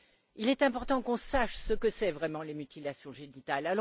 Il est important qu'on sache ce que sont vraiment les mutilations génitales.